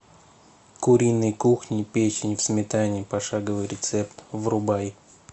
куриной кухни печень в сметане пошаговый рецепт врубай